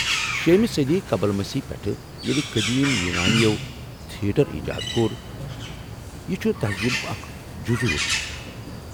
شیٚمہٕ صدی قبل مسیح پیٹھ، ییلہٕ قدیم یونانیو تھیٹر ایجاد کوٚر، یہِ چُھ تٔہذیٖبک اکھ جزو روٗدمت